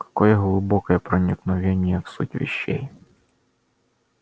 какое глубокое проникновение в суть вещей